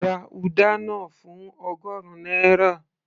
ra uda náà fún ọgọrun náírà